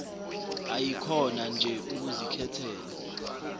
ayikhona nje ukuzikhethela